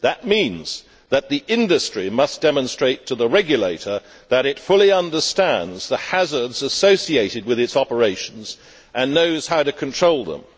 That means that the industry must demonstrate to the regulator that it fully understands the hazards associated with its operations and knows how to control them.